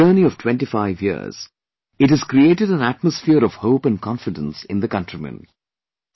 In its journey of 25 years, it has created an atmosphere of hope and confidence in the countrymen